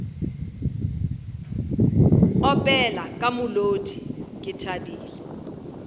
opela ka molodi ke thabile